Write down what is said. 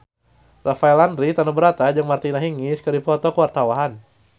Rafael Landry Tanubrata jeung Martina Hingis keur dipoto ku wartawan